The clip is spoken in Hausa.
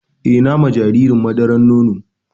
Eh, na na ma jaririn madaran nono.